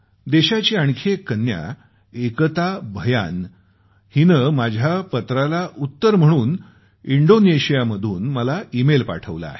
देशाची आणखी एक कन्या एकता भयान हिने माझ्या पत्राला उत्तर म्हणून इंडोनेशियामधून मला ईमेल पाठवला आहे